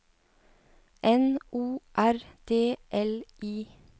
N O R D L I